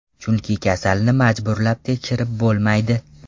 Chunki kasalni majburlab tekshirib bo‘lmaydi.